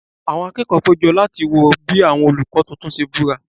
Àwọn akẹ́kọ̀ọ́ péjọ láti wo bí àwọn olùkọ́ tuntun ṣe búra